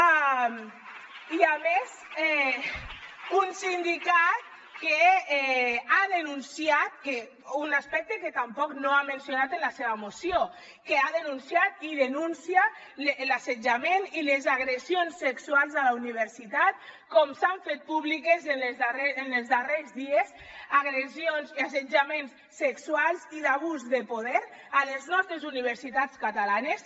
)i a més un sindicat que ha denunciat un aspecte que tampoc no ha mencionat en la seva moció i denuncia l’assetjament i les agressions sexuals a la universitat com s’han fet públiques en els darrers dies agressions i assetjaments sexuals i d’abús de poder a les nostres universitats catalanes